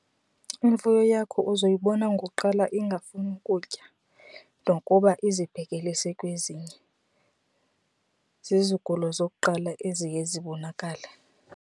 Imfuyo yakho uzoyibona ngokuqala ingafuni ukutya nokuba izibhekelise kwezinye. Zizigulo zokuqala eziye zibonakale.